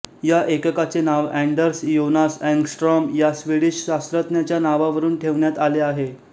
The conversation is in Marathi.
या एककाचे नाव एंडर्स योनास एंग्स्ट्रॉम या स्वीडिश शास्त्रज्ञाच्या नावावरून ठेवण्यात आले आहे